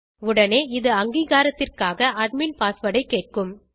உடனே இது அங்கீகாரத்திற்காக அட்மின் பாஸ்வேர்ட் ஐ கேட்கும்